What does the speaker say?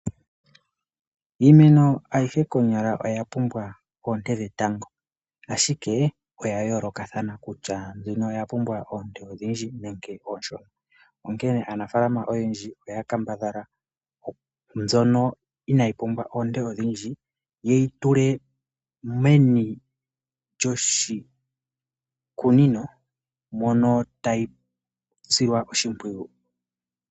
Iimeno ayihe konyala oyapumbwa oonte dhetango, ashike oyayoolokathana kutya mbino oyapumbwa oonte odhindji nenge oonshona. Onkene aanafalama oyendji oya kambadhala mbyono inaayi pumbwa oonte odhindji yeyi tule meni lyoshikunino mono tayi silwa oshimpwiyu.